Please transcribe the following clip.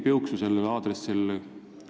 Ma ei kuulnud sellel aadressil ühtegi piuksu.